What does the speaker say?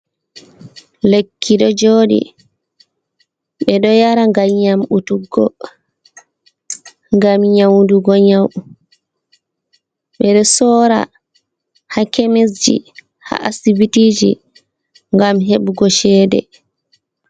Lekki ɗo jooɗi, ɓe ɗo yara ngam yamɗutugo, ngam nyawndugo nyawu. Ɓe ɗo sorrra haa kemisji, haa asibitiji ngam heɓugo ceede.